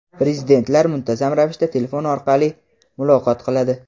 Prezidentlar muntazam ravishda telefon orqali muloqot qiladi.